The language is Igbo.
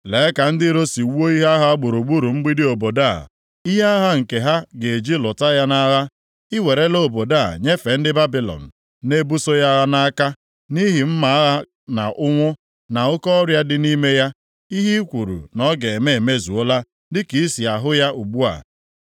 “Lee ka ndị iro si wuo ihe agha ha gburugburu mgbidi obodo a, ihe agha nke ha ga-eji lụta ya nʼagha. I werela obodo a nyefee ndị Babilọn na-ebuso ya agha nʼaka, nʼihi mma agha na ụnwụ, na oke ọrịa dị nʼime ya. Ihe i kwuru na ọ ga-eme emezuola, dịka i si ahụ ya ugbu a.